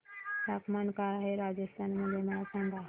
तापमान काय आहे राजस्थान मध्ये मला सांगा